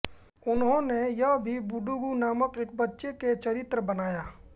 उन्होंने यह भी बुडुगु नामक एक बच्चे के चरित्र बनाया